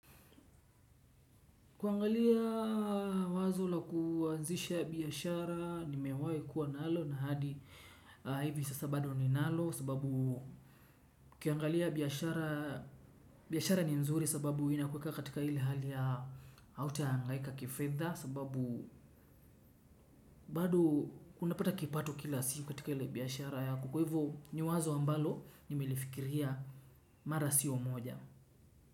Kuangalia wazo la kuanzisha biashara nimewahi kuwa nalo, na hivi sasa bado ninalo, sababu, ukiangalia biashara ni mzuri sababu ina kuweka katika ile hali ya, hautahangaika kifedha sababu, bado unapata kipato kila siku katika ile biashara yako. Kwa hivo ni wazo ambalo nimelifikiria mara siyo moja.